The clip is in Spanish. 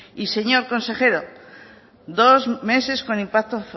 y señor consejero dos meses con impacto